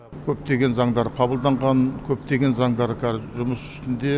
көптеген заңдар қабылданған көптеген заңдар қазір жұмыс үстінде